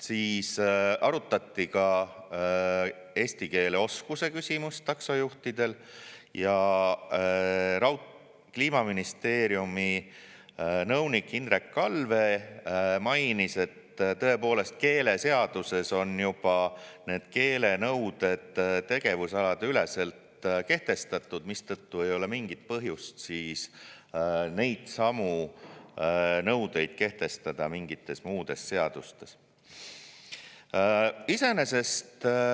Siis arutati ka taksojuhtide eesti keele oskuse küsimust ja Kliimaministeeriumi nõunik Hindrek Allvee mainis, et tõepoolest, keeleseaduses on juba need keelenõuded tegevusalade üleselt kehtestatud, mistõttu ei ole mingit põhjust neidsamu nõudeid kehtestada mingites muudes seadustes.